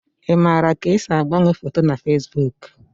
Ị maara ka esi agbanwe foto na Fesbuk?